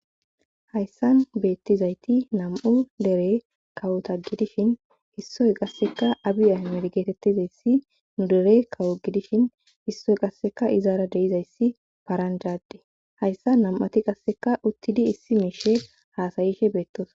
hayssan beettizayti nam7u dere kawota gidishin hissoy qasseka abiyahmedgeetettizayssi nu dere kawo gidishin hissoy qasseka izaara deizayssi paranjaadde hayssa nam7ati qasseka uttidi issi miishe haasayishe beettos